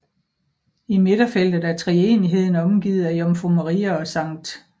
I midterfeltet er treenigheden omgivet af Jomfru Maria og Skt